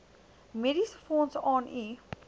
mediesefonds aan u